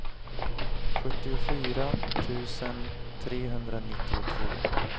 sjuttiofyra tusen trehundranittiotvå